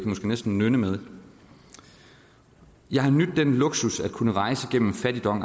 måske næsten nynne med jeg har nydt den luxus at kunne rejse gennem fattigdom